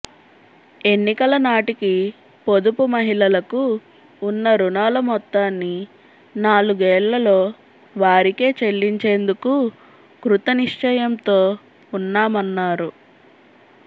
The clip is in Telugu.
ఎన్నికల నాటికి పొదుపు మహిళలకు ఉన్న రుణాల మొత్తాన్ని నాలుగేళ్లలో వారికే చెల్లించేందుకు కృతనిశ్చయంతో ఉన్నామన్నారు